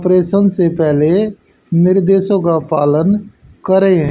प्रेशन से पहले निर्देशों का पालन करें।